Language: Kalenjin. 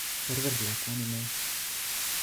Berber lakwani nia